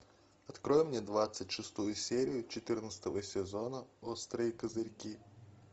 открой мне двадцать шестую серию четырнадцатого сезона острые козырьки